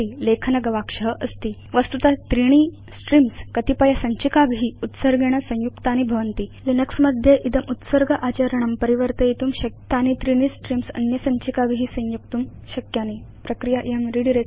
उपरि लेखन गवाक्ष अस्ति वस्तुत त्रीणि स्ट्रीम्स् कतिपयसञ्चिकाभि उत्सर्गेण संयुक्तानि भवन्ति किन्तु लिनक्स मध्ये इदम् उत्सर्ग आचरणं परिवर्तयितुं शक्यं वयम् इमानि त्रीणि स्ट्रीम्स् अन्य सञ्चिकाभि संयोक्तुं शक्नुम प्रक्रिया इयं रिडायरेक्शन